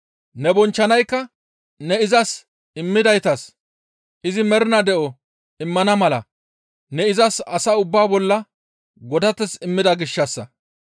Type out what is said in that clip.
Ne bonchchanaykka ne izas immidaytas izi mernaa de7o immana mala ne izas asa ubbaa bolla godateth immida gishshassa.